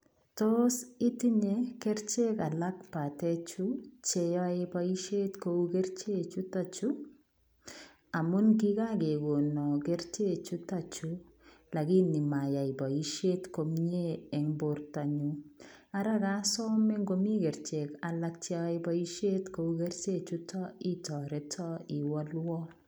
Tos itinyei kercheek alaak kobateen chuu ,che yae boisiet ko uu kercheek chutoon chuu amuun kia kegonaan kercheek chutoon chuu lakini mayani boisiet komyei en borto nyuun, ara kasamee ingo kercheek alaak che yae boisiet kou kercheek chutoon itaretaan iwalwaan.